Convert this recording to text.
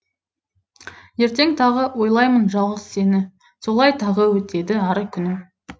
ертең тағы ойлаймын жалғыз сені солай тағы өтеді ары күнім